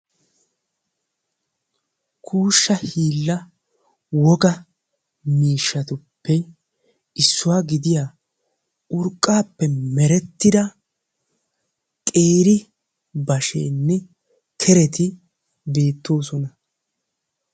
Kuushsha hiilla wogaa miishshatuppe issuwa gidiya urqqaappe merettida qeeri basheenne kereti beettoosona.